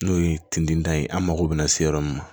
N'o ye tindinda ye an mago bɛ na se yɔrɔ min na